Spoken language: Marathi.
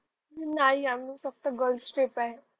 नाही आम्ही फक्त गर्ल्स ट्रिप आहे.